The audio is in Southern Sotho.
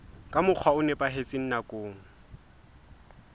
ka mokgwa o nepahetseng nakong